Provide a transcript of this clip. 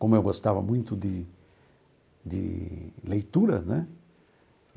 Como eu gostava muito de... de leitura, né?